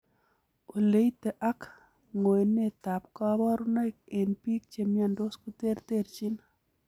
Oleite ak ng'oenetab koburonoik en biik chemiondos koterterchin.